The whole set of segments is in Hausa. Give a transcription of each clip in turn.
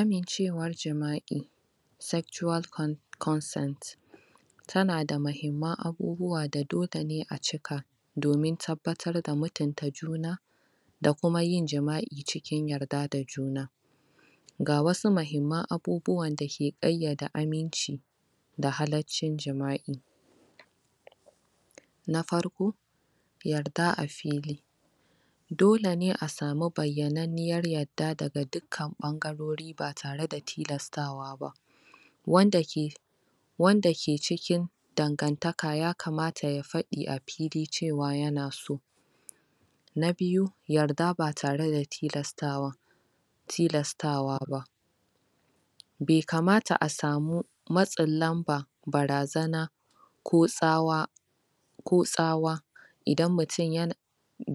Amincewar jima'i sexual con consent tanada mahimman abubuwa da dole ne a cika domin tabbatar da mutunta juna da kuma yin jima'i cikin yarda da juna ga wasu mahimman abubuwan dake ƙayyade aminci da halaccin jima'i na farko yarda a fili dole ne a samu bayyananniyar yarda daga dukkan ɓangarori ba tare da tilastawa ba wanda ke wanda ke cikin dangantaka ya kamata ya faɗi a fili cewa yana so na biyu, yarda ba tare da tilastawa tilastawa ba be kamata a samu, matsin lamba, barazana ko tsawa ko tsawa idan mutum yan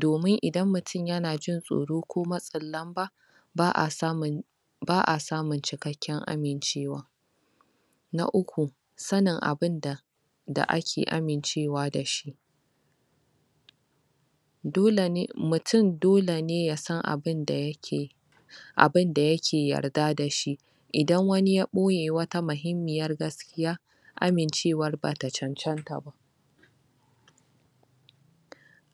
domin idan mutum yana jin tsoro ko matsin lamba ba a samun ba a samun cikakken amincewa na uku sanin abinda da ake amincewa dashi dole ne, mutum dole ne yasan abinda yake abinda yake yarda dashi idan wani ya ɓoye wata mahimmiyar gaskiya amincewar bata cancanta ba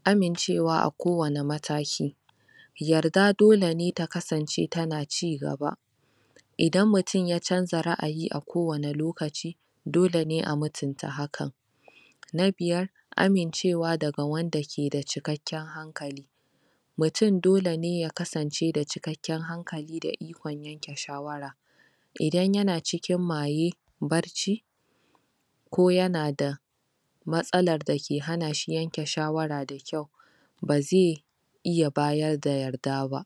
amincewa a kowane mataki yarda dole ne ta kasance tana cigaba idan mutum ya canza ra'ayi a kowane lokaci dole ne a mutunta hakan na biyar amincewa daga wanda ke da cikakken hankali mutum dole ne ya kasance da cikakken hankali da ikon yanke shawara idan yana cikin maye, barci ko yanada matsalar dake hana shi yanke shawara da kyau ba zai iya bayar da yarda ba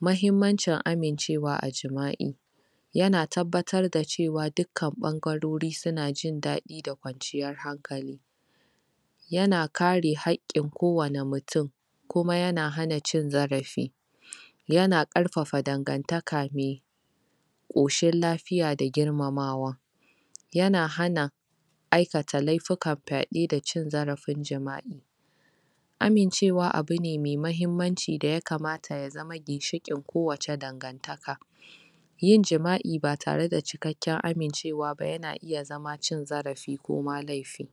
Mahimmancin amincewa a jima'i yana tabbatar da cewa dukkan ɓangarori suna jin daɗi da kwanciyar hankali yana kare haƙƙin kowane mutum kuma yana hana cin zarafi yana ƙarfafa dangantaka me ƙoshin lafiya da girmamawa yana hana aikata laifukan fyaɗe da cin zarafin jima'i amincewa abu ne mai mahimmanci da ya kamata ya zama ginshiƙin kowacce dangantaka yin jima'i batare da cikakken amincewa ba yana iya zama cin zarafi ko ma laifi